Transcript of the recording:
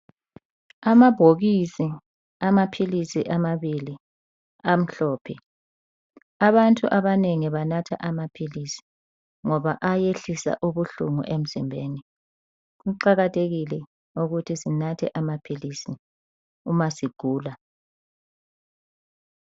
Amabhokisi amaphilisi amabili amhlophe. Abantu abanengi banatha amaphilisi ngoba ayehlisa ubuhlungu emzimbeni. Kuqakathekile ukuthi sinathe amaphilisi uma sigula.